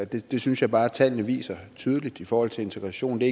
det synes jeg bare tallene viser tydeligt i forhold til integration det